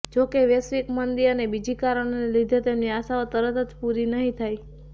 જો કે વૈશ્વિક મંદી અને બીજી કારણેને લીધે તેમની આશાઓ તરત જ પૂરી નહીં થાય